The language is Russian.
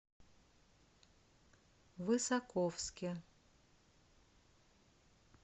высоковске